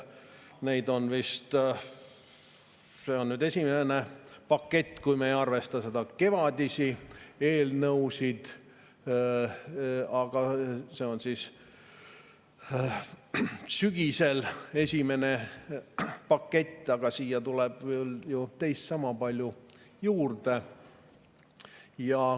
See on esimene pakett, kui me ei arvesta neid kevadisi eelnõusid, see on sügisel esimene pakett, aga siia tuleb ju teist sama palju juurde.